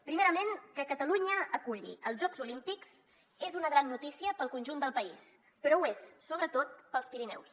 primerament que catalunya aculli els jocs olímpics és una gran notícia per al conjunt del país però ho és sobretot per als pirineus